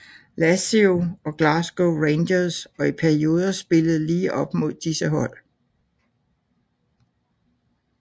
Lazio og Glasgow Rangers og i perioder spillede lige op mod disse hold